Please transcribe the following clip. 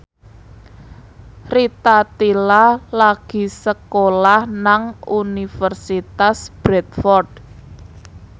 Rita Tila lagi sekolah nang Universitas Bradford